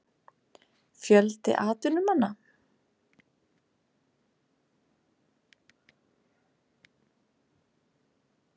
Fjöldi atvinnumanna?